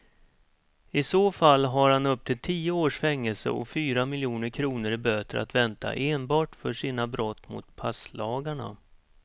I så fall har han upp till tio års fängelse och fyra miljoner kronor i böter att vänta enbart för sina brott mot passlagarna.